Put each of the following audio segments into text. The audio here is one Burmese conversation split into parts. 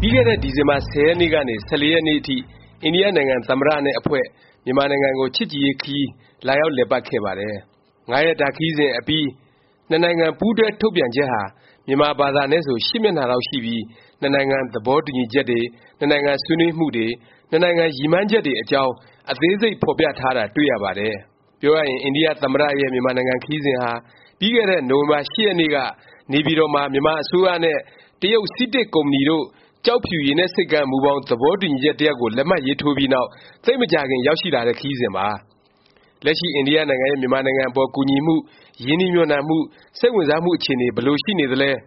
ပြီးခဲ့တဲ့ ဒီဇင်ဘာ ၁၀ ရက်နေ့ကနေ ၁၄ ရက်နေ့အထိ အိန္ဒိယနိုင်ငံ သမ္မတ နဲ့ အဖွဲ့ မြန်မာနိုင်ငံကို ချစ်ကြည်ရေး ခရီး လာရောက်လည်ပတ်ခဲ့ပါတယ်။ ၅ ရက်တာ ခရီးစဉ်အပြီး နှစ်နိုင်ငံ ပူးတွဲ ထုတ်ပြန်ချက်ဟာ မြန်မာဘာသာနဲ့ ဆို မျက်နှာလောက် ရှိပြီး နှစ်နိုင်ငံ သဘောတူညီချက်တွေ၊ နှစ်နိုင်ငံ ဆွေးနွေးမှုတွေ၊ နှစ်နိုင်ငံ ရည်မှန်းချက်တွေအကြောင်း အသေးစိတ် ဖော်ပြထားတာ တွေ့ရပါတယ်။ ပြောရရင် အိန္ဒိယ သမ္မတ ရဲ့ မြန်မာနိုင်ငံ ခရီးစဉ်ဟာ ပြီးခဲ့တဲ့ နိုဝင်ဘာ ၈ ရက်နေ့က နေပြည်တော်မှာ မြန်မာအစိုးရနဲ့ တရုတ် CITIC ကုမ္ပဏီတို့ ကျောက်ဖြူရေနက်ဆိပ်ကမ်း မူဘောင်သဘောတူညီချက် တစ်ရပ်ကို လက်မှတ်ရေးထိုးပြီးနောက် သိပ်မကြာခင် ရောက်ရှိလာတဲ့ ခရီးစဉ်ပါ။ လက်ရှိ အိန္ဒိယနိုင်ငံရဲ့ မြန်မာနိုင်ငံအပေါ် ကူညီမှု၊ ရင်းနှီးမြှုပ်နှံမှု၊ စိတ်ဝင်စားမှု အခြေအနေ ဘယ်လို ရှိနေသလဲ၊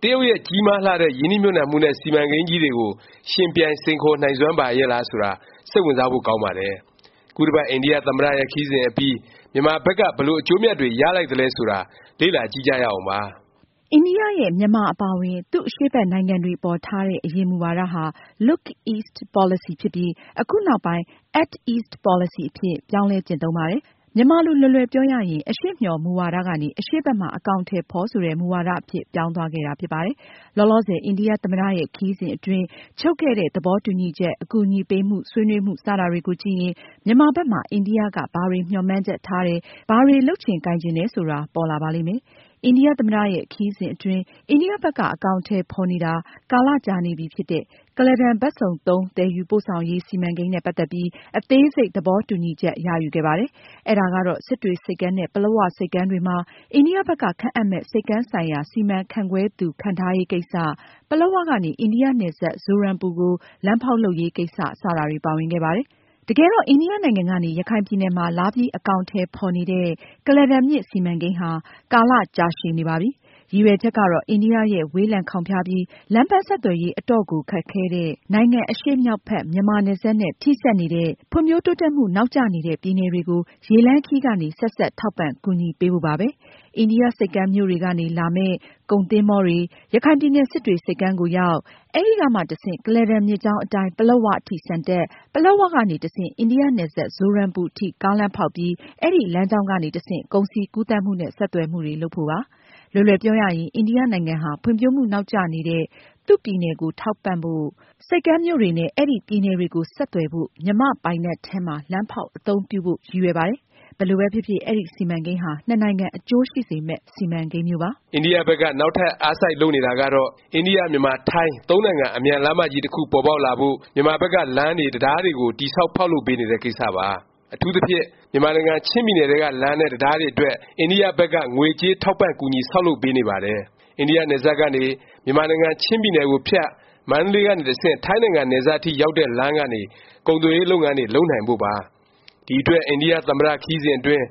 တရုတ်ရဲ့ ကြီးမားလှတဲ့ ရင်းနှီးမြှုပ်နှံမှုနဲ့ စီမံကိန်းကြီးတွေကို ယှဉ်ပြိုင် စိန်ခေါ်နိုင်စွမ်း ရှိပါရဲ့လား ဆိုတာ စိတ်ဝင်စားဖို့ ကောင်းပါတယ်။ ခုတစ်ပတ် အိန္ဒိယ သမ္မတရဲ့ ခရီးစဉ်အပြီး မြန်မာဘက်က ဘယ်လို အကျိုးအမြတ်တွေ ရသလိုက်သလဲ ဆိုတာ လေ့လာကြည့်ကြရအောင်ပါ။ အိန္ဒိယရဲ့ မြန်မာ အပါအဝင် သူ့အရှေ့ဘက်နိုင်ငံတွေအပေါ် ထားတဲ့ အရင် မူဝါဒဟာ Look East Policy ဖြစ်ပြီး အခုနောက်ပိုင်း Act East Policy အဖြစ် ပြောင်းလဲ ကျင့်သုံးပါတယ်။ မြန်မာလို လွယ်လွယ်ပြောရရင် အရှေ့မျှော် မူဝါဒ ကနေ အရှေ့ဘက်မှာ အကောင်အထည် ဖော် ဆိုတဲ့ မူဝါဒ အဖြစ် ပြောင်းသွားခဲ့တာ ဖြစ်ပါတယ်။ လောလောဆယ် အိန္ဒိယ သမ္မတရဲ့ ခရီးစဉ် အတွင်း ချုပ်ခဲ့တဲ့ သဘောတူညီချက်၊ အကူအညီပေးမှု၊ ဆွေးနွေးမှု စတာတွေကိုကြည့်ရင် မြန်မာဘက်မှာ အိန္ဒိယ က ဘာတွေ မျှော်မှန်းချက်ထားတယ်၊ ဘာတွေ လုပ်ချင်ကိုင်ချင်တယ် ဆိုတာ ပေါ်လာပါလိမ့်မယ်။ အိန္ဒိယ သမ္မတ ရဲ့ ခရီးစဉ်အတွင်း အိန္ဒိယ ဘက်က အကောင်အထည် ဖော်နေတာ ကာလ ကြာနေပြီဖြစ်တဲ့ ကုလားတန် ဘက်စုံသုံး သယ်ယူပို့ဆောင်ရေး စီမံကိန်းနဲ့ ပတ်သက်ပြီး အသေးစိတ် သဘောတူညီချက် ရယူခဲ့ပါတယ်။ အဲဒါကတော့ စစ်တွေဆိပ်ကမ်းနဲ့ ပလက်၀ ဆိပ်ကမ်းတွေမှာ အိန္ဒိယ ဘက်က ခန့်အပ်မယ့် ဆိပ်ကမ်းဆိုင်ရာ စီမံခန့်ခွဲသူ ခန့်ထားရေး ကိစ္စ၊ ပလက်၀ ကနေ အိန္ဒိယ နယ်စပ် ဇိုရမ်ပူကို လမ်းဖေါက်လုပ်ရေးကိစ္စ စတာတွေ ပါဝင်ခဲ့ပါတယ်။ တကယ်တော့ အိန္ဒိယနိုင်ငံကနေ ရခိုင်ပြည်နယ် မှာ လာပြီး အကောင်အထည် ဖော်နေတဲ့ ကုလားတန်မြစ် စီမံကိန်းဟာ ကာလကြာရှည်နေပါပြီ။ ရည်ရွယ်ချက်ကတော့ အိန္ဒိယရဲ့ ဝေးလံခေါင်ဖျားပြီး လမ်းပန်းဆက်သွယ်ရေး အတော့်ကို ခက်ခဲတဲ့ နိုင်ငံ့ အရှေ့မြောက်ဘက် မြန်မာနယ်စပ်နဲ့ ထိစပ်နေတဲ့ ဖွံ့ဖြိုးတိုးတက်မှု နောက်ကျနေတဲ့ ပြည်နယ်တွေကို ရေလမ်းခရီးကနေ ဆက်စပ် ထောက်ပံ့ ကူညီပေးဖို့ပါပဲ။ အိန္ဒိယ ဆိပ်ကမ်းမြို့တွေကနေ လာမယ့် ကုန်သင်္ဘောတွေ၊ ရခိုင်ပြည်နယ် စစ်တွေ ဆိပ်ကမ်းကိုရောက်၊ အဲဒီကမှ တဆင့် ကုလားတန် မြစ်ကြောင်းအတိုင်း ပလက်၀ အထိ ဆန်တက်၊ ပလက်၀ ကနေ တဆင့် အိန္ဒိယ နယ်စပ် ဇိုရမ်ပူ အထိ ကားလမ်းဖေါက်ပြီး အဲဒီ လမ်းကြောင်းကနေ တဆင့် ကုန်စည် ကူးသန်းမှုနဲ့ ဆက်သွယ်မှုတွေ လုပ်ဖို့ပါ။ လွယ်လွယ်ပြောရရင် အိန္ဒိယနိုင်ငံဟာ ဖွံ့ဖြိုးမှုနောက်ကျနေတဲ့ သူ့ ပြည်နယ်ကို ထောက်ပံ့ဖို့၊ ဆိပ်ကမ်းမြို့တွေနဲ့ အဲဒီ ပြည်နယ်တွေကို ဆက်သွယ်ဖို့ မြန်မာ့ပိုင်နက်ထဲမှာ လမ်းဖေါက် အသုံးပြုဖု့ိ ရည်ရွယ်ပါတယ်။ ဘယ်လိုပဲဖြစ်ဖြစ် အဲဒီ စီမံကိန်းဟာ နှစ်နိုင်ငံ အကျိုးရှိစေမယ့် စီမံကိန်းမျိုးပါ။ အိန္ဒိယ ဘက်က နောက်ထပ် အားစိုက် လုပ်နေတာကတော့ အိန္ဒိယ- မြန်မာ- ထိုင်း သုံးနိုင်ငံ အမြန်လမ်းမကြီး တစ်ခု ပေါ်ပေါက်လာဖို့ မြန်မာဘက်က လမ်းတွေ၊ တံတားတွေကို တည်ဆောက် ဖေါက်လုပ်ပေးနေတဲ့ ကိစ္စပါ။ အထူးသဖြင့် မြန်မာနိုင်ငံ ချင်းပြည်နယ်ထဲက လမ်းနဲ့ တံတားတွေအတွက် အိန္ဒိယ ဘက်က ငွေကြေးထောက်ပံ့ ကူညီ ဆောက်လုပ်ပေးနေပါတယ်။ အိန္ဒိယ နယ်စပ်ကနေ မြန်မာနိုင်ငံ ချင်းပြည်နယ်ကိုဖြတ် မန္တလေးကနေ တဆင့် ထိုင်းနိုင်ငံနယ်စပ်အထိ ရောက်တဲ့ လမ်းကနေ ကုန်သွယ်ရေး လုပ်ငန်းတွေ လုပ်နိုင်ဖု့ိပါ။ ဒီအတွက် အိန္ဒိယ သမ္မတ ခရီးစဉ်အတွင်း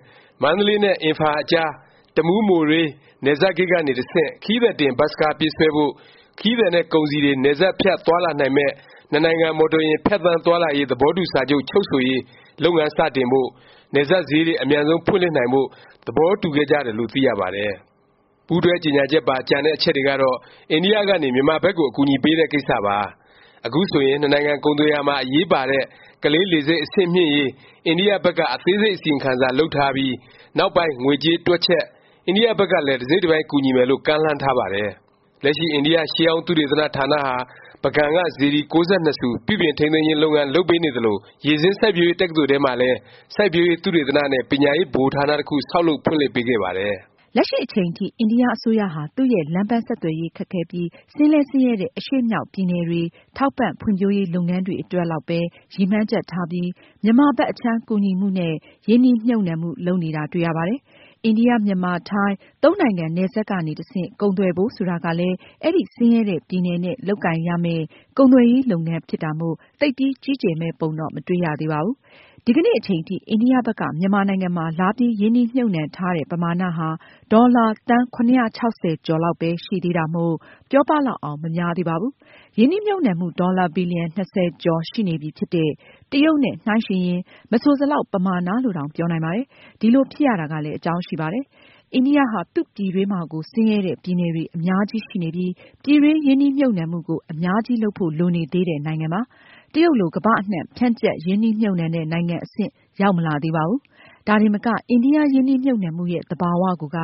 မန္တလေးနဲ့ အင်ဖာလ် အကြား တမူး-မိုရေး နယ်စပ်ဂိတ်ကနေ တဆင့် ခရီးသည်တင် ဘတ်စ်ကား ပြေးဆွဲဖို့၊ ခရီးသည်နဲ့ ကုန်စည်တွေ နယ်စပ်ဖြတ် သွားလာနိုင်မယ့် နှစ်နိုင်ငံ မော်တော်ယာဉ် ဖြတ်သန်းသွားလာရေး သဘောတူ စာချုပ် ချုပ်ဆိုရေး လုပ်ငန်း စတင်ဖို့၊ နယ်စပ်ဈေးတွေ အမြန်ဆုံး ဖွင့်လှစ်နိုင်ဖို့ သဘောတူခဲ့ကြတယ်လို့ သိရပါတယ်။ ပူးတွဲကြေငြာချက်ပါ ကျန်တဲ့ အချက်တွေကတော့ အိန္ဒိယ ကနေ မြန်မာဘက်ကို အကူအညီပေးတဲ့ ကိစ္စပါ။ အခုဆိုရင် နှစ်နိုင်ငံ ကုန်သွယ်ရာမှာ အရေးပါတဲ့ ကလေး လေဆိပ် အဆင့်မြှင်ရေး အိန္ဒိယ ဘက်က အသေးစိတ် အစီရင်ခံစာ လုပ်ထားပြီး နောက်ပိုင်း ငွေကြေး တွက်ချက်၊ အိန္ဒိယ ဘက်ကလည်း တစ်စိတ်တစ်ပိုင်း ကူညီမယ်လို့ ကမ်းလှမ်းထားပါတယ်။ လက်ရှိ အိန္ဒိယ ရှေးဟောင်းသုတေသန ဌာနဟာ ပုဂံက စေတီ ၉၂ ဆူ ပြုပြင်ထိန်းသိမ်းခြင်း လုပ်ငန်း လုပ်ပေးနေသလို၊ ရေဆင်းစိုက်ပျိုးရေး တက္ကသိုလ်ထဲမှာလည်း စိုက်ပျိုးရေး သုတေသန နဲ့ ပညာရေး ဗဟိုဌာန တစ်ခု ဆောက်လုပ် ဖွင့်လှစ်ပေးခဲ့ပါတယ်။ လက်ရှိအချိန်ထိ အိန္ဒိယ အစိုးရဟာ သူ့ရဲ့ လမ်းပန်းဆက်သွယ်ရေး ခက်ခဲပြီး ဆင်းလည်း ဆင်းရဲတဲ့ အရှေ့မြောက် ပြည်နယ်တွေ ထောက်ပံ့ ဖွံ့ဖြိုးရေး လုပ်ငန်းတွေအတွက်လောက်ပဲ ရည်မှန်းချက်ထားပြီး မြန်မာဘက် အခြမ်း ကူညီမှုနဲ့ ရင်းနှီးမြှုပ်နှံမှု လုပ်နေတာ တွေ့ရပါတယ်။ အိန္ဒိယ- မြန်မာ- ထိုင်း သုံးနိုင်ငံ နယ်စပ်ကနေ တဆင့် ကုန်သွယ်ဖို့ ဆိုတာကလည်း အဲဒီ ဆင်းရဲတဲ့ ပြည်နယ်နဲ့ လုပ်ကိုင်ရမယ့် ကုန်သွယ်ရေး လုပ်ငန်း ဖြစ်တာမို့ သိပ်ပြီး ကြီးကျယ်မယ့် ပုံတော့ မတွေ့ရသေးပါဘူး။ ဒီကနေ့ အချိန်ထိ အိန္ဒိယ ဘက်က မြန်မာနိုင်ငံမှာ လာပြီး ရင်းနှီးမြှုပ်နှံထားတဲ့ ပမာဏဟာ ဒေါ်လာ သန်း ၇၆၀ ကျော်လောက်ပဲ ရှိသေးတာမို့ ပြောပလောက်အောင် မများသေးပါဘူး။ ရင်းနှီးမြှုပ်နှံမှု ဒေါ်လာ ဘီလျံ ၂၀ ကျော်ရှိနေပြီဖြစ်တဲ့ တရုတ်နဲ့ နှိုင်းယှဉ်ရင် မဆိုစလောက် ပမာဏ လို့တောင် ပြောနိုင်ပါတယ်။ ဒီလိုဖြစ်ရတာကလည်း အကြောင်းရှိပါတယ်။ အိန္ဒိိယဟာ သူ့ပြည်တွင်းမှာကို ဆင်းရဲတဲ့ ပြည်နယ်တွေ အများကြီးရှိနေပြီး ပြည်တွင်း ရင်းနှီးမြှုပ်နှံမှုကို အများကြီး လုပ်ဖို့ လိုနေသေးတဲ့ နိုင်ငံပါ။ တရုတ်လို ကမ္ဘာအနှံ့ ဖြန့်ကျက် ရင်းနှီးမြှုပ်နှံတဲ့ နိုင်ငံအဆင့် ရောက်မလာသေးပါဘူး။ ဒါတင်မက အိန္ဒိယ ရင်းနှီးမြှုပ်နှံမှုရဲ့ သဘာ၀ ကိုက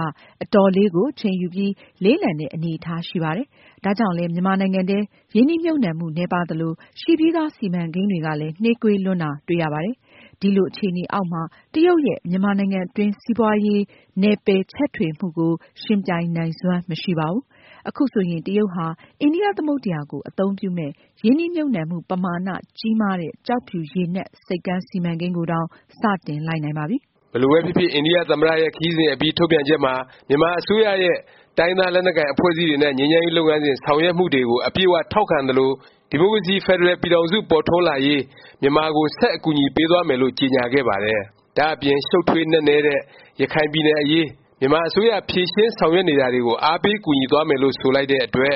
အတော်လေးကို အချိန်ယူပြီး လေးလံတဲ့ အနေအထား ရှိပါတယ်။ ဒါကြောင့်လဲ မြန်မာနိုင်ငံထဲ ရင်းနှီးမြှုပ်နှံမှု နည်းပါးသလို၊ ရှိပြီးသား စီမံကိန်းတွေကလည်း နှေးကွေးလွန်းတာ တွေ့ရပါတယ်။ ဒီလို အခြေအနေအောက်မှာ တရုတ်ရဲ့ မြန်မာနိုင်ငံအတွင်း စီးပွားရေး နယ်ပယ်ချဲ့ထွင်မှုကို ယှဉ်ပြိုင်နိုင်စွမ်း မရှိပါဘူး။ ခုဆိုရင် တရုတ်ဟာ အိန္ဒိယ သမုဒ္ဒယာကို အသုံးပြုမယ့်ရင်းနှီးမြှုပ်နှံမှု ပမာဏ ကြီးမားတဲ့ ကျောက်ဖြူရေနက် ဆိပ်ကမ်းစီမံကိန်းကိုတောင် စ တင်လိုက်နိုင်ပါပြီ။ ဘယ်လိုပဲဖြစ်ဖြစ် အိန္ဒိယ သမ္မတရဲ့ ခရီးစဉ်အပြီး ထုတ်ပြန်ချက်မှာ မြန်မာ အစိုးရရဲ့ တိုင်းရင်းသား လက်နက်ကိုင် အဖွဲ့အစည်းတွေနဲ့ ငြိမ်းချမ်းရေး လုပ်ငန်းစဉ် ဆောင်ရွက်မှုတွေကို အပြည့်အ၀ ထောက်ခံသလို၊ ဒီမိုကရေစီ ဖက်ဒရယ် ပြည်ထောင်စု ပေါ်ထွန်းလာရေး မြန်မာကို ဆက် အကူအညီပေးသွားမယ်လို့ ကြေငြာခဲ့ပါတယ်။ ဒါ့အပြင် ရှုတ်ထွေး နက်နဲ့တဲ့ ရခိုင်ပြည်နယ်အရေး မြန်မာအစိုးရ ဖြေရှင်း ဆောင်ရွက်နေတာတွေကို အားပေးကူညီသွားမယ်လို့ ဆိုလိုက်တဲ့အတွက်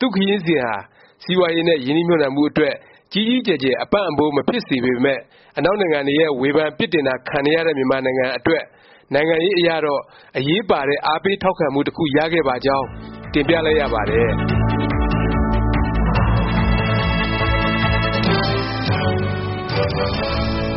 သူ့ခရီးစဉ်ဟာ စီးပွားရေးနဲ့ ရင်းနှီးမြှုပ်နှံမှု အတွက် ကြီးကြီးကျယ်ကျယ် အပံ့အပိုး မဖြစ်စေပေမယ့် အနောက်နိုင်ငံတွေရဲ့ ဝေဖန်ပြစ်တင်တာ ခံနေရတဲ့ မြန်မာနိုင်ငံအတွက် နိုင်ငံရေးအရတော့ အရေးပါတဲ့ အားပေးထောက်ခံမှု တစ်ခု ရခဲ့ပါကြောင်း တင်ပြလိုက်ရပါတယ်